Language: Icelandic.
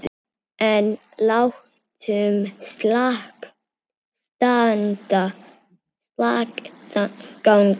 En látum slag standa.